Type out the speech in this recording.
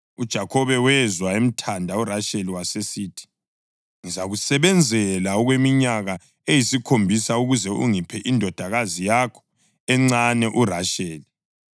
UJakhobe wezwa emthanda uRasheli wasesithi, “Ngizakusebenzela okweminyaka eyisikhombisa ukuze ungiphe indodakazi yakho encane uRasheli.”